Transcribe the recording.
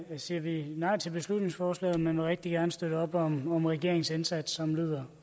siger vi nej til beslutningsforslaget men vil rigtig gerne støtte op om regeringens indsats som lyder